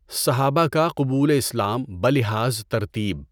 صحابہ کا قبول اسلام بلحاظ ترتیب